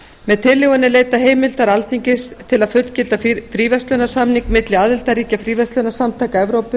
með tillögunni er leitað heimildar alþingis til að fullgilda fríverslunarsamning milli aðildarríkja fríverslunarsamtaka evrópu